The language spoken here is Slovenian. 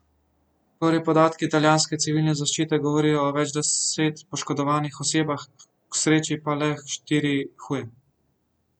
Prvi podatki italijanske civilne zaščite govorijo o več deset poškodovanih osebah, k sreči pa le štiri huje.